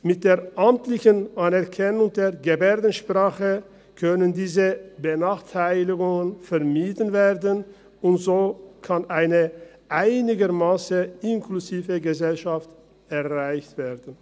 Mit der amtlichen Anerkennung der Gebärdensprache können diese Benachteiligungen vermieden werden, und so kann eine einigermassen inklusive Gesellschaft erreicht werden.